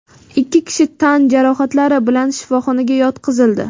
ikki kishi tan jarohatlari bilan shifoxonaga yotqizildi.